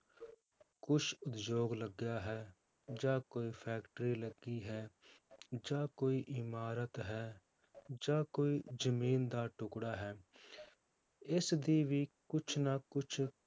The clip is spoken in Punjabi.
ਕੁਛ ਉਦਯੋਗ ਲੱਗਿਆ ਹੈ, ਜਾਂ ਕੋਈ factory ਲੱਗੀ ਹੈ ਜਾਂ ਕੋਈ ਇਮਾਰਤ ਹੈ ਜਾਂ ਕੋਈ ਜ਼ਮੀਨ ਦਾ ਟੁੱਕੜਾ ਹੈ ਇਸਦੀ ਵੀ ਕੁਛ ਨਾ ਕੁਛ,